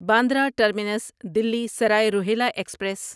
Bandra terminus Delhi Sarai Rohilla express